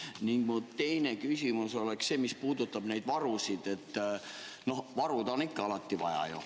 Ning mu teine küsimus on see, mis puudutab neid varusid, et varusid on alati vaja.